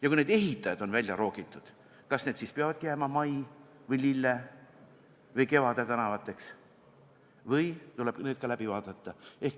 Ja kui need ehitajad on välja roogitud, siis kas need tänavad peavadki jääma Mai või Lille või Kevade tänavaks või tuleb need ka läbi vaadata?